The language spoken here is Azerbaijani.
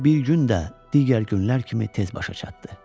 O bir gün də digər günlər kimi tez başa çatdı.